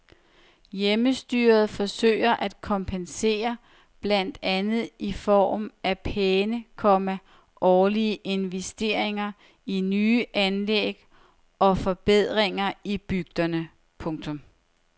Hjemmestyret forsøger at kompensere blandt andet i form af pæne, komma årlige investeringer i nye anlæg og forbedringer i bygderne. punktum